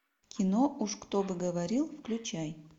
кино уж кто бы говорил включай